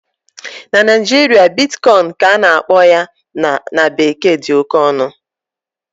na Naijiria, Bitcoin ka a na-akpọ ya na bekee dị oke ọnụ